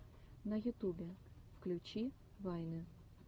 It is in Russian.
на ютубе включи вайны